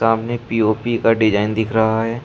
सामने पी_ओ_पी का डिजाइन दिख रहा है।